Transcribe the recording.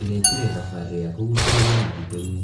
Ndĩrekire thabarĩ ya kũgucĩrĩria mũtitũ-inĩ.